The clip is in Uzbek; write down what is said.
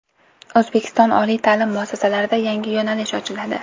O‘zbekiston oliy ta’lim muassasalarida yangi yo‘nalish ochiladi.